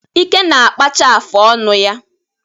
Ike na-akpacha afụ ọnụ ya.